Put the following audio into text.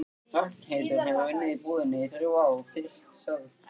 Ragnheiður hefur unnið í búðinni í þrjú ár, fyrst sögð